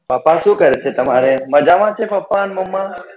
પાપા શું કરે છે તમારે મજામાં છે પાપા ને મમ્મા?